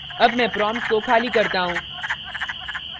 अब मैं prompt को खाली करता हूँ